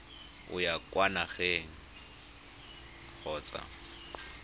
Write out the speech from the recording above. o ya kwa nageng kgotsa